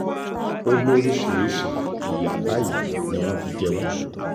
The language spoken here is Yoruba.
ó lóríṣìíríṣìí ìyà báyìí ni wọ́n fi jẹ àwọn